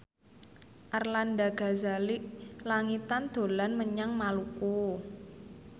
Arlanda Ghazali Langitan dolan menyang Maluku